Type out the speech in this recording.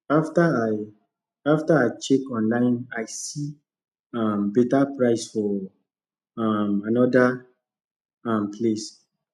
after i after i check online i see um better price for um another um place